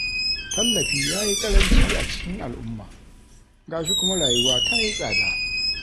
Tallafi ya yi ƙaranci a cikin al'umma, ga shi kuma rayuwa ta yi tsada.